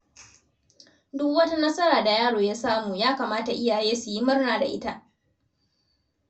Duk wata nasara da yaro ya samu, ya kamata iyaye su yi murna da ita.